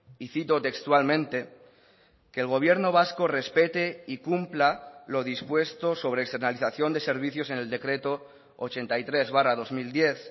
y cito textualmente que el gobierno vasco respete y cumpla lo dispuesto sobre externalizacion de servicios en el decreto ochenta y tres barra dos mil diez